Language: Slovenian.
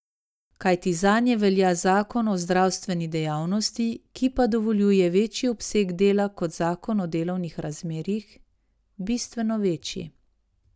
Kajti zanje velja zakon o zdravstveni dejavnosti, ki pa dovoljuje večji obseg dela kot zakon o delovnih razmerjih, bistveno večji.